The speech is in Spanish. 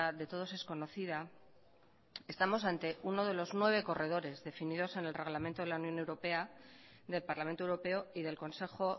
de todos es conocida estamos ante uno de los nueve corredores definidos en el reglamento de la unión europea del parlamento europeo y del consejo